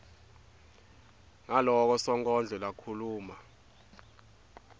ngaloko sonkondlo lakhuluma